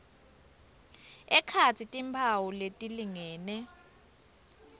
ekhatsi timphawu letilingene